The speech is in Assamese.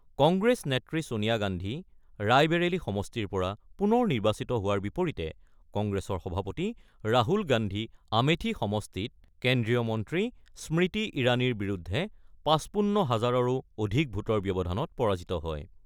কংগ্ৰেছ নেত্ৰী ছোনীয়া গান্ধী ৰায়বেৰেলী সমষ্টিৰ পৰা পুনৰ নিৰ্বাচিত হোৱাৰ বিপৰীতে কংগ্ৰেছৰ সভাপতি ৰাহুল গান্ধী আমেথি সমষ্টিত কেন্দ্ৰীয় মন্ত্ৰী স্মৃতি ইৰাণীৰ বিৰুদ্ধে ৫৫ হাজাৰৰো অধিক ভোটৰ ব্যৱধানত পৰাজিত হয়।